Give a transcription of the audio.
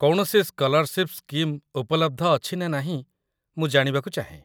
କୌଣସି scholarship scheme ଉପଲବ୍ଧ ଅଛି ନା ନାହିଁ, ମୁଁ ଜାଣିବାକୁ ଚାହେଁ